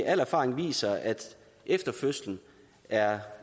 al erfaring viser at efter fødslen er